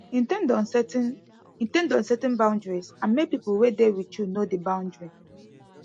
in ten d on setting in ten d on setting boundaries and make pipo wey dey with you know di bountry